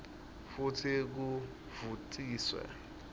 futsi kuvutsiwe